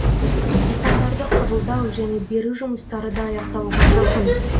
нысандарды қабылдау және беру жұмыстары да аяқталуға жақын